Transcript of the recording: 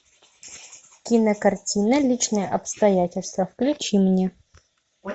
кинокартина личные обстоятельства включи мне